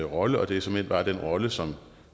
rolle og det er såmænd bare den rolle som